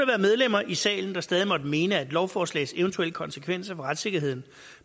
være medlemmer i salen der stadig måtte mene at lovforslagets eventuelle konsekvenser for retssikkerheden